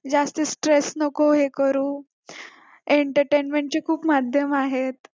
जास्त stress नको हे करू entertainment चे खूप माध्यम आहेत